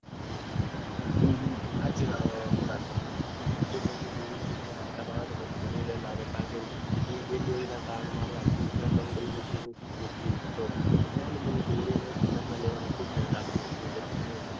હમ સાચી વાત છે સાચી વાત છે. જેમ દોરી બોરી ખરાબ આવે તો પછી મને પણ ખરાબ લાગે કે મારી આખી ઉત્તરાયણ બગડે તો પછી મેં